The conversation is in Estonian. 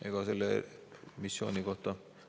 Ega selle missiooni kohta …